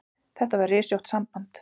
Þetta var rysjótt samband.